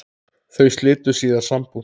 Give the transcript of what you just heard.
Þau slitu síðar sambúð.